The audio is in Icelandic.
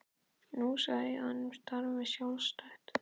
Nú ég sagði honum að þú starfaðir sjálfstætt.